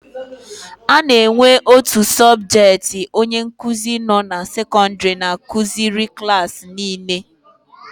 A na-enwe otu sọbjetị onye nkuzi nọ na sekọndịrị na-akụziri klaasị niile.